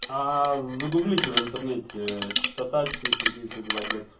аа загуглите в интернете частота четыри сто тридцать два герц